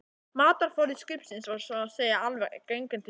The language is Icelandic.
Matarforði skipsins var svo að segja alveg genginn til þurrðar.